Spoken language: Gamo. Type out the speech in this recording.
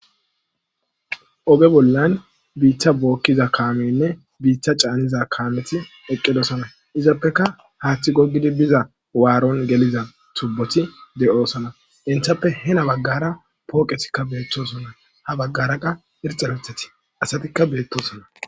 oge bollan biitta bookkiza kaamenne biiththa caaniza kaameti eqqidosana izappeka haaththi gogidi biza waaron geliza tubboti de7osana inthappe he na baggara pooqetikka beettosonna ha baggara qa irxalothati asatikka beettosonna